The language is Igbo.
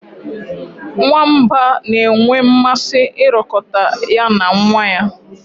Nwamba na-enwe mmasị ịrọkọta ya na nwa ya.